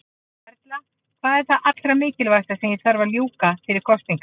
Erla: Hvað er það allra mikilvægasta sem að þarf að ljúka fyrir kosningar?